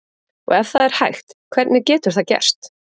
Og ef það er hægt, hvernig getur það gerst?